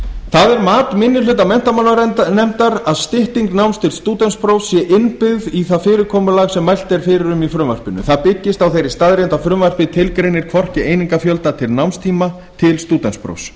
það er mat minni hluta menntamálanefndar að stytting náms til stúdentsprófs sé innbyggð í það fyrirkomulag sem mælt er fyrir um í frumvarpinu það byggist á þeirri staðreynd að frumvarpið tilgreinir hvorki einingafjölda né námstíma til stúdentsprófs